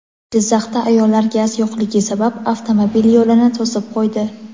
Jizzaxda ayollar gaz yo‘qligi sabab avtomobil yo‘lini to‘sib qo‘ydi.